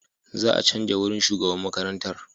Za a canja wurin shugaban makarantar.